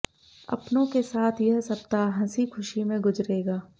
अपनों के साथ यह सप्ताह हंसी खुशी में गुजरेगा